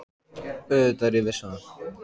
Auðvitað er ég viss um það.